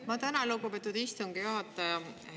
Ma tänan, lugupeetud istungi juhataja!